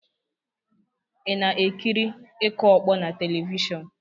Ị na-ekiri ịkụ ọkpọ na telivishọn?